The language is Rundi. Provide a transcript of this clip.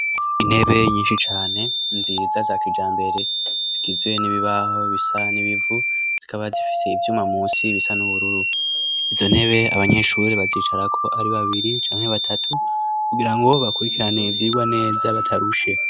Intebe nyinshi cane nziza za kijambere zigizwe n'ibibaho bisa n'ibivu zikaba zifise ivyuma munsi bisa n'ubururu izo ntebe abanyeshuri bazicarako ari babiri canke batatu kugirango bakurikirane ivyigwa neza batarushe.